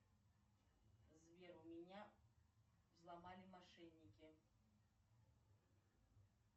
сбер у меня взломали мошенники